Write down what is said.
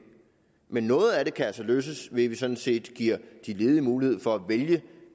men noget af det kan altså løses ved at vi sådan set giver de ledige mulighed for at vælge